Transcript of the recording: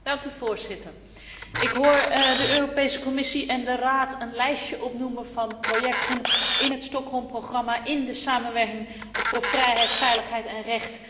Ik hoor de Europese Commissie en de Raad een lijstje opnoemen van projecten in het Stockholmprogramma, in de samenwerking voor vrijheid, veiligheid en recht, die gelukt zijn.